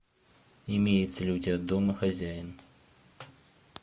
имеется ли у тебя домохозяин